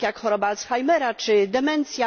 takie jak choroba Alzheimera czy demencja.